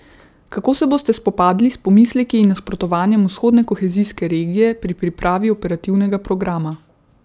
Kako se boste spopadli s pomisleki in nasprotovanjem vzhodne kohezijske regije pri pripravi operativnega programa?